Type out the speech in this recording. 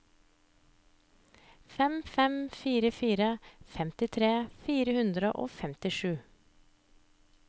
fem fem fire fire femtitre fire hundre og femtisju